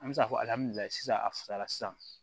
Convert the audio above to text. An bɛ se k'a fɔ sisan a fisayara sisan